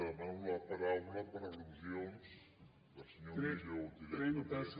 demano la paraula per al·lusions del senyor millo directament